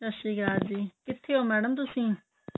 ਸਤਿ ਸ਼੍ਰੀ ਅਕਾਲ ਜੀ ਕਿਥੇ ਹੋ ਮੈਡਮ ਤੁਸੀਂ